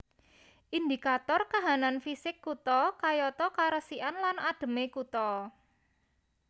Indikator kahanan fisik kutha kayata karesikan lan adheme kutha